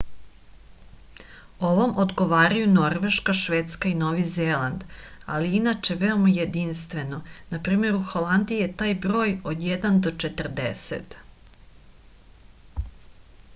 овоме одговарају норвешка шведска и нови зеланд али је иначе веома јединствено нпр. у холандији је тај број од један до четрдесет